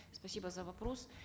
спасибо за вопрос